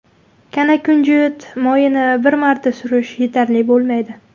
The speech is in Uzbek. Kanakunjut moyini bir marta surish yetarli bo‘lmaydi.